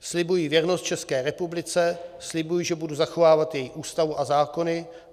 "Slibuji věrnost České republice, slibuji, že budu zachovávat její Ústavu a zákony.